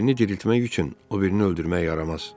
Birini diriltmək üçün o birini öldürmək yaramaz.